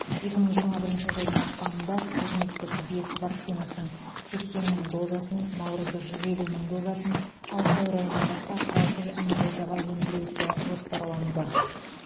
екі мың жиырма бірінші жылдың ақпанында спутниктік бес вакцинасының сексен мың дозасын наурызда жүз елу мың дозасын ал сәуір айынан бастап алты жүз мың дозаға өндіру ісі жоспарлануда